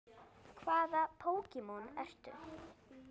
Hvaða Pokémon ertu?